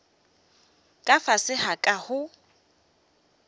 ka fase ga ka go